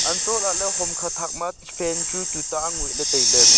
hantoh la ley hom kha thak ma fan chu tu ta angoih ley tailey.